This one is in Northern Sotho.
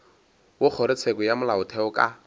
wa kgorotsheko ya molaotheo ka